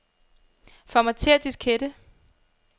Formatér diskette.